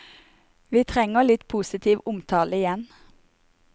Vi trenger litt positiv omtale igjen.